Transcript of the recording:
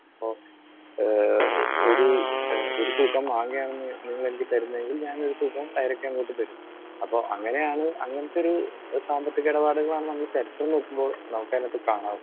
Speaker 2 അപ്പോ ഏഹ് ഒരു ഒരു തൂക്കം മാങ്ങയാണ് നിങ്ങൾ എനിക്ക് തരുന്നതെങ്കിൽ ഞാൻ ഒരു തൂക്കം പേരക്ക അങ്ങോട്ടു തരും. അപ്പോ അങ്ങനെയാണ് അങ്ങനത്തെ ഒരു സാമ്പത്തിക ഇടപാടുകളാണ് നമ്മൾ ചരിത്രം നോക്കുമ്പോൾ നമുക്കതിനകത്ത് കാണാൻ